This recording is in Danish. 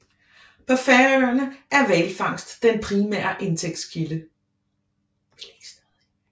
På Færøerne er hvalfangst den primære indtægtskilde